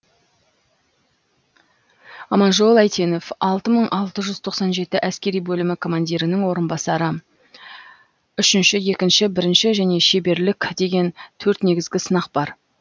аманжол әйтенов алты мың алты жүз тоқсан жеті әскери бөлімі командирінің орынбасары үшінші екінші бірінші және шеберлік деген төрт негізгі сынақ бар